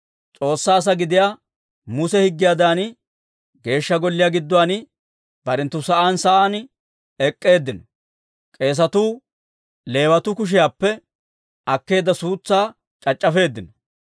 S'oossaa asaa gidiyaa Muse higgiyaadan, Geeshsha Golliyaa gidduwaan barenttu sa'aan sa'aan ek'k'eeddinno; k'eesatuu Leewatuu kushiyaappe akkeedda suutsaa c'ac'c'afeeddino.